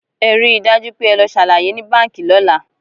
Ẹ rí i dájú pé ẹ lọ ṣàlàyé ní Báǹkì lọ́la!